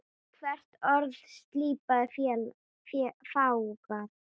Hvert orð slípað, fágað.